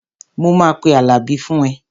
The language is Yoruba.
Mo máa pe Àlàbí fún ẹ